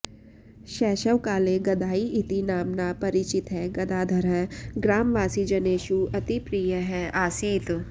शैशवकाले गदाइ इति नाम्ना परिचितः गदाधरः ग्रामवासीजनेषु अतिप्रीयः आसीत्